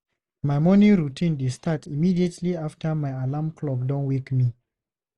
My morning routine dey start immediately after my alarm clock don wake me.